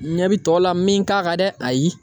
N ɲɛ bi tɔw la n min k'a kan dɛ ayi.